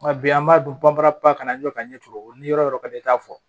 Nka bi an b'a dɔn banbaa kana ɲɛ ka ɲɛ cogo o yɔrɔ ka di e ta fɔ